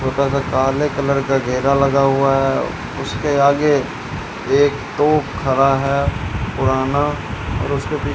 छोटा सा काले कलर का घेरा लगा हुआ है उसके आगे एक दो खड़ा है पुराना और उसके पी --